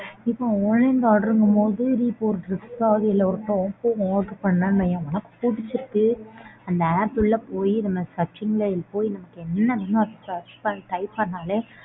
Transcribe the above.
இப்போ online ல order ங்கும் போது நீ ஒரு dress ஒ top order பண்ணேன் வையேன்மா பிடிச்சருக்கு அந்த app உள்ள போயி நம்ம searching ல போயி என்னவேணுமோ அத search type பண்ணாலே.